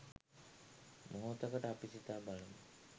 මොහොතකට අපි සිතා බලමු.